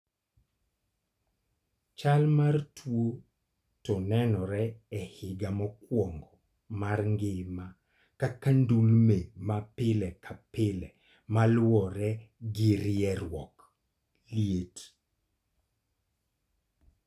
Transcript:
Chal mar tuo no nenore e higa mokwongo mar ngima kaka ndulme ma pile ka pile ma luwore gi rieruok (liet).